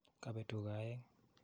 Kapeet tuga aeng'